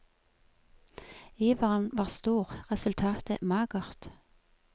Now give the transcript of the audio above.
Iveren var stor, resultatet magert.